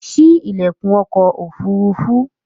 Sí ilẹkun ọkọ̀ ofurufu!